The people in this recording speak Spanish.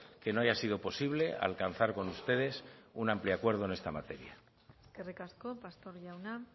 que no haya sido posible alcanzar con ustedes un amplio acuerdo en esta materia eskerrik asko pastor jauna